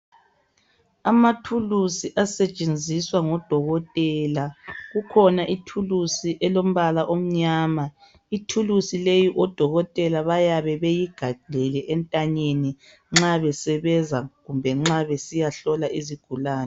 Amathulusi asetshenziswa ngodokotela. Kukhona ithulusi elombala omnyama. Ithulusi leyi odokotela bayabe beyigaxile entanyeni nxa besebenza kumbe nxa besiyahlola izigulani.